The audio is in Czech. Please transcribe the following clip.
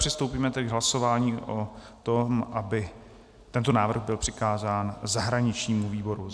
Přistoupíme tedy k hlasování o tom, aby tento návrh byl přikázán zahraničnímu výboru.